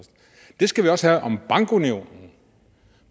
det skal vi også have om bankunionen